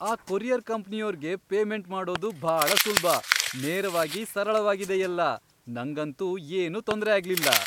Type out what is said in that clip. ಆ ಕೊರಿಯರ್ ಕಂಪ್ನಿಯೋರ್ಗೆ ಪೇಮೆಂಟ್ ಮಾಡೋದು ಭಾಳ ಸುಲ್ಭ. ನೇರವಾಗಿ, ಸರಳವಾಗಿದೆ ಎಲ್ಲ, ನಂಗಂತೂ ಏನೂ ತೊಂದ್ರೆ ಆಗ್ಲಿಲ್ಲ.